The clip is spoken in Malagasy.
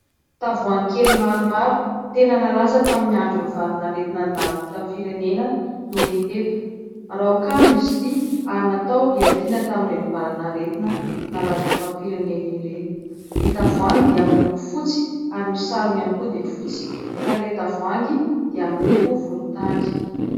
Tavoangy kely maromaro tena nalaza tamin' ny andron' ny valanaretina nandalo teto amin' ny firenena no hita eto. Raokandro izy ity ary natao hiadiana tamin' ireny valanaretina nalaza eto amin' ny firenena ireny. Ny tavoangy dia miloko fotsy ary ny sarony ihany koa dia fotsy fa ilay tavoangy dia miloko volotany.